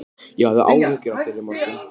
Ég hafði áhyggjur af þér í morgun.